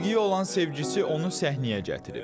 Musiqiyə olan sevgisi onu səhnəyə gətirib.